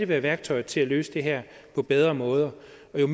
være værktøjet til at løse det her på bedre måder